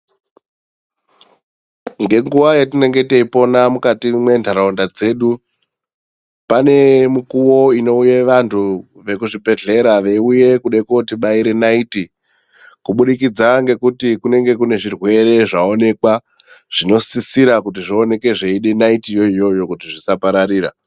Nge nguva yatinenge tei pona mukati mwe ndaraunda dzedu pane mukuwo ino uye vantu veku zvibhedhlera vei uye kude koti baire naiti ku budikidza ngekuti kunenge kune zvirwere zva onekwa zvino sisira kuti zvi oneke zveide nati yoyo kuti zvisa pararira.